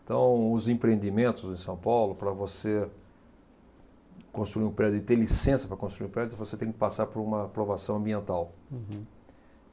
Então, os empreendimentos em São Paulo, para você construir um prédio e ter licença para construir um prédio, você tem que passar por uma aprovação ambiental. Uhum.